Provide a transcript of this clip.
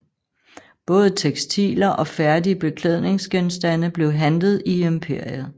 Både tekstiler og færdige beklædningsgenstande blev handlet i imperiet